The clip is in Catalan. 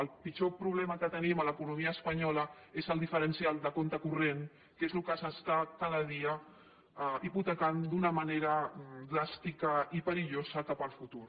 el pitjor problema que tenim a l’economia espanyola és el diferencial de compte corrent que és el que s’està cada dia hipotecant d’una manera dràstica i perillosa cap al futur